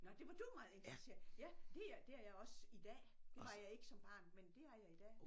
Nåh det var du meget interesseret ja det er det er jeg også i dag det var jeg ikke som barn men det er jeg i dag